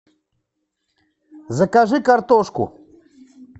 закажи картошку